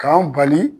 K'an bali